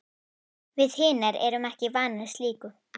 Við hinar erum ekki vanar slíku.